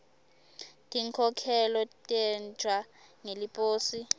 tinkhokhelo tentiwa ngeliposi